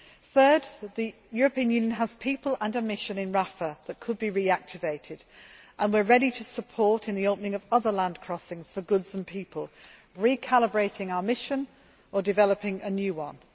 Third, the European Union has people and a mission in Rafah that could be reactivated and we are ready to support the opening of other land crossings for goods and people and recalibrating our mission or developing a new